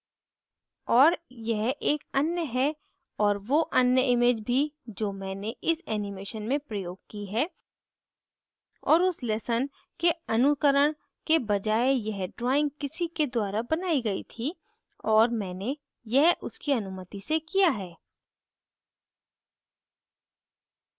और यह एक अन्य है और वो अन्य image भी जो मैंने इस animation में प्रयोग की है और उस lesson के अनुकरण के बजाये यह drawing किसी के द्वारा बनायी गयी थी और मैंने यह उसकी अनुमति से किया है